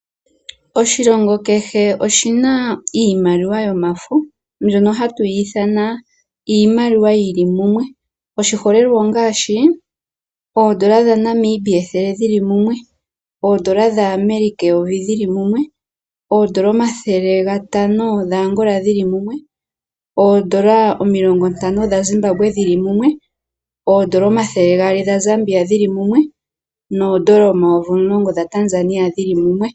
Oshilongo kehe oshi na iimaliwa yomafo mbyono hatu yi ithana iimaliwa yi li mumwe. Oshiholelwa ongaashi oodola dhaNamibia dhi li mumwe, oodola dhaAmerica eyovi dhi li mumwe, omakwanza omathele gatano gaAngola ge li mumwe, oodola omilongo dhaZimbambwe dhi li mumwe, ookwacha omathele gaali gaZamibia ge li mumwe nooshilinga omayivi omulongo gaTanzania ge li mumwe.